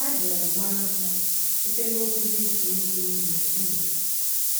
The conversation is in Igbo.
A bịara mara ha site n’okwu Hibru bụ́ “Nefilim.